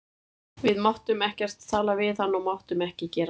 Við máttum ekkert tala við hann og máttum ekki gera neitt.